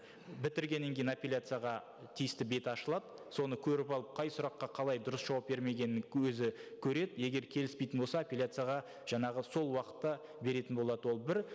бітіргеннен кейін апелляцияға тиісті беті ашылады соны көріп алып қай сұраққа қалай дұрыс жауап бермегенін өзі көреді егер келіспейтін болса апелляцияға жаңағы сол уақытта беретін болады ол бір